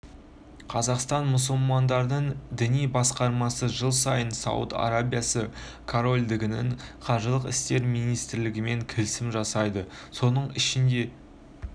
қазақстан мұсылмандарының діни басқармасы жыл сайын сауд арабиясы корольдігінің қажылық істері министрлігімен келісім жасайды соның негізінде